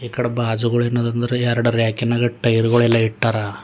ಈ ಕಡೆ ಬಾಜುಗಳ ಏನಿದ್ ಅಂದರ ಎರಡ್ ರ್ಯಾಕಿ ನಗ ಟೈರ್ ಗಳನೆಲ್ಲ ಇಟ್ಟಾರ.